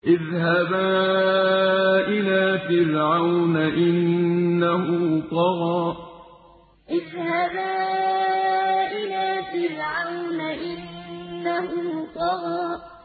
اذْهَبَا إِلَىٰ فِرْعَوْنَ إِنَّهُ طَغَىٰ اذْهَبَا إِلَىٰ فِرْعَوْنَ إِنَّهُ طَغَىٰ